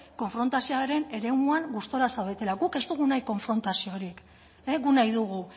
konfrontazioaren eremuan gustaraz zaudetelako guk ez dugu nahi konfrontazio horiek guk nahi dugu